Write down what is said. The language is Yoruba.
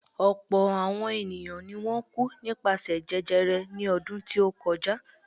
Ọ̀pọ̀̀ àọn ènìyàn ni wọ́n kú nípasẹ̀ jẹjẹrẹ ní ọdún tí ó kọjá.